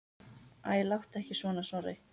Æ, láttu ekki svona, Snorri.